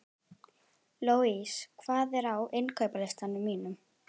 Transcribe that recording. Louise, hvað er á innkaupalistanum mínum?